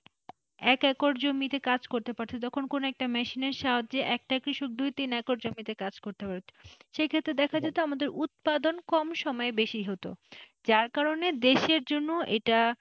এক একর জমিতে কাজ করতো পারতো কোনো একটা machine এর সাহায্যে একটা কৃষক দুই তিন একর জমি তে করতে সেক্ষেত্রে দেখা যেতো উৎপাদন কম সময়ে বেশি হতো যার কারণে দেশের জন্য এটা,